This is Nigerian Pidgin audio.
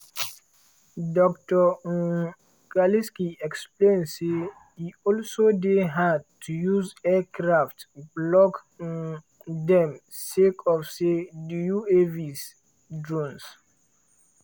dr um kalisky explain say "e also dey hard to use aircraft block um dem sake of say di uavs (drones)